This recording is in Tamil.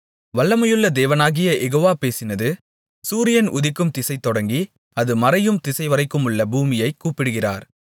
வல்லமையுள்ள தேவனாகிய யெகோவா பேசினது சூரியன் உதிக்கும்திசை தொடங்கி அது மறையும் திசைவரைக்குமுள்ள பூமியைக் கூப்பிடுகிறார்